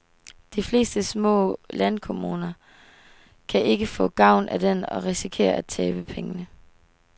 De fleste små landkommuner kan ikke få gavn af den og risikerer at tabe penge.